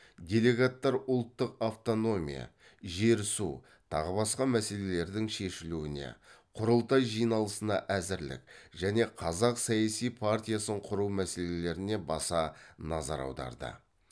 делегаттар ұлттық автономия жер су тағы басқа мәселелердің шешілуіне құрылтай жиналысына әзірлік және қазақ саяси партиясын құру мәселелеріне баса назар аударды